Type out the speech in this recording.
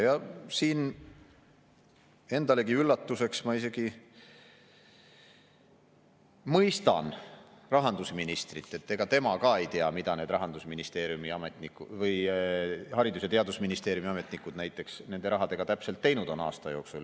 Ja endalegi üllatuseks ma isegi mõistan rahandusministrit, et ega tema ka ei tea, mida näiteks Haridus‑ ja Teadusministeeriumi ametnikud nende rahadega aasta jooksul täpselt teinud on.